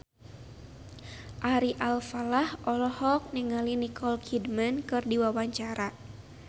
Ari Alfalah olohok ningali Nicole Kidman keur diwawancara